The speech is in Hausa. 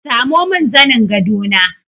Samo min zanin gado na!